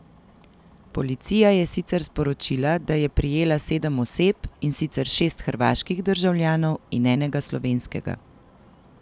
Policija je sicer sporočila, da je prijela sedem oseb, in sicer šest hrvaških državljanov in enega slovenskega.